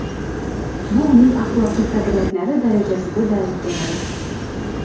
Bu uning axloqiy qadriyatlari darajasida darak beradi.